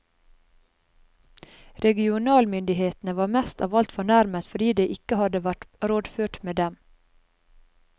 Regionalmyndighetene var mest av alt fornærmet fordi det ikke hadde vært rådført med dem.